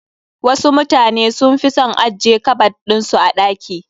Wasu mutanen sun fi son ajje kabad ɗin su a ɗaki.